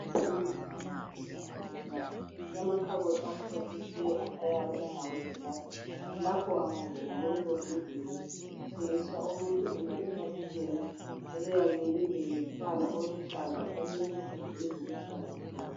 Imithi lamaphilizi ezigulane kulamakhabothi amhlophe nke ayabe engawe gilas lapho akungenywa kuleli vingile kuthengisa umuntu eme ifastela eliyabe lilombala oluhlaza olensimbi eziluhlaza tshoko.